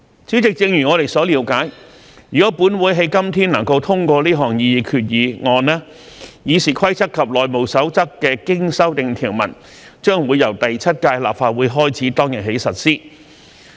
主席，正如我們所了解，如果本會今天能夠通過這項擬議決議案，《議事規則》及《內務守則》的經修訂條文將會由第七屆立法會開始當日起實施。